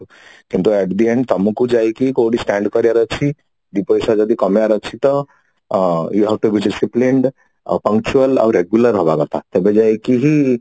କିନ୍ତୁ of the end ତମକୁ ଯାଇକି କୋଉଠି stand କରିବାର ଅଛି ଦି ପଇସା ଯଦି କମେଇବାର ଅଛି ତ ଆଉ punctual ଆଉ regular ହବା କଥା ତେବେ ଯାଇ କି ହି